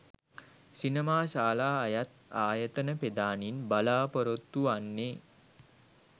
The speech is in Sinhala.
සිනමාශාලා අයත් ආයතන ප්‍රධානීන් බලාපොරොත්තු වන්නේ